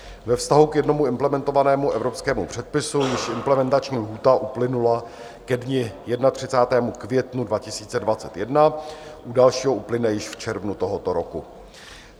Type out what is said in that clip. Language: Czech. Ve vztahu k jednomu implementovanému evropskému předpisu již implementační lhůta uplynula ke dni 31. května 2021, u dalšího uplyne již v červnu tohoto roku.